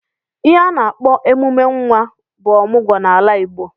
Ihe a na-akpo emume nwa ọmụgwọ n'ala Igbo.